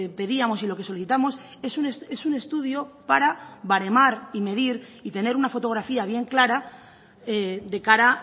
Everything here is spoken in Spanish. pedíamos y lo que solicitamos es un estudio para baremar y medir y tener una fotografía bien clara de cara